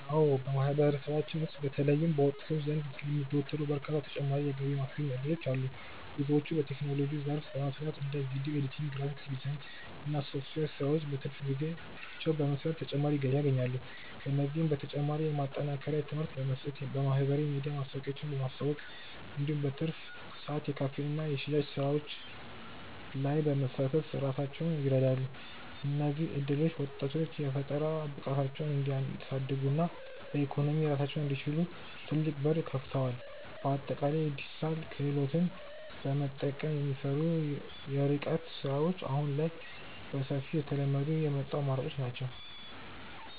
አዎ በማህበረሰባችን ውስጥ በተለይም በወጣቶች ዘንድ የሚዘወተሩ በርካታ ተጨማሪ የገቢ ማስገኛ እድሎች አሉ። ብዙዎች በቴክኖሎጂው ዘርፍ በመሰማራት እንደ ቪዲዮ ኤዲቲንግ፣ ግራፊክስ ዲዛይን እና የሶፍትዌር ስራዎችን በትርፍ ጊዜያቸው በመስራት ተጨማሪ ገቢ ያገኛሉ። ከእነዚህም በተጨማሪ የማጠናከሪያ ትምህርት በመስጠት፣ በማህበራዊ ሚዲያ ማስታወቂያዎችን በማስተዋወቅ እንዲሁም በትርፍ ሰዓት የካፌና የሽያጭ ስራዎች ላይ በመሳተፍ ራሳቸውን ይረዳሉ። እነዚህ እድሎች ወጣቶች የፈጠራ ብቃታቸውን እንዲያሳድጉና በኢኮኖሚ ራሳቸውን እንዲችሉ ትልቅ በር ከፍተዋል። በአጠቃላይ የዲጂታል ክህሎትን በመጠቀም የሚሰሩ የርቀት ስራዎች አሁን ላይ በሰፊው እየተለመዱ የመጡ አማራጮች ናቸው።